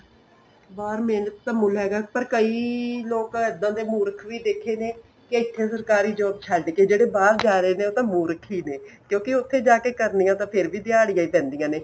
ਬਾਹਰ ਮਿਹਨਤ ਦਾ ਮੁੱਲ ਹੈਗਾ ਪਰ ਕਈ ਇੱਦਾਂ ਦੇ ਮੁਰੱਖ ਵੀ ਦੇਖੇ ਨੇ ਕੇ ਇੱਥੇ ਸਰਕਾਰੀ job ਛੱਡ ਕੇ ਜਿਹੜੇ ਬਾਹਰ ਜਾ ਰਹੇ ਨੇ ਉਹ ਤਾਂ ਮੁਰੱਖ ਹੀ ਨੇ ਕਿਉਂਕਿ ਉੱਥੇ ਜਾ ਕੇ ਕਰਨੀਆਂ ਤਾਂ ਫੇਰ ਵੀ ਦਿਹਾੜੀਆਂ ਹੀ ਪੈਂਦੀਆਂ ਨੇ